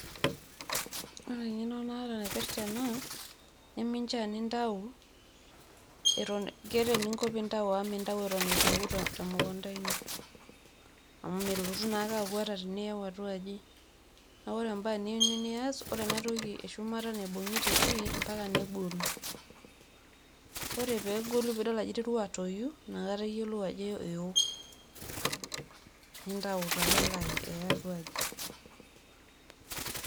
ore eng'eno naata naipirta ena, neminchaa nintau eton. keeta eninko pee intau amu mintau eton eitu eku temukunta ino. amu melotu naa ake aku ata teniyau atua aji. neeku oe ebae niyieu nias, ore enatoki eshumata naibung'ita oshi, mpaka negolu. ore pee egolu mpaka nidol ajo iterua atoyu. nintau taa nilo aya atu aji.